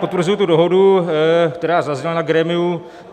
Potvrzuji tu dohodu, která zazněla na grémiu.